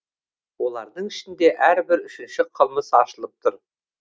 олардың ішінде әрбір үшінші қылмыс ашылып тұр